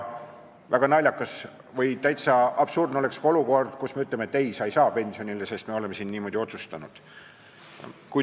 Väga naljakas või täiesti absurdne oleks ka olukord, kus me ütleksime, et ei, sa ei saa pensionile minna, sest meie oleme siin niimoodi otsustanud.